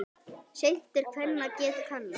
Seint er kvenna geð kannað.